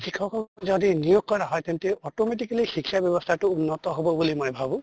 শিক্ষকক যদি নিয়োগ কৰা হয় তেন্তে automatically শিক্ষা ব্য়ৱস্থাতো উন্নত হʼব বুলি মই ভাবো।